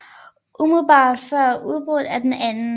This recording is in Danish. Umiddelbart før udbruddet af den 2